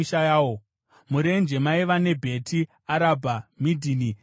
Murenje maiva ne: Bheti Arabha, Midhini, Sekaka,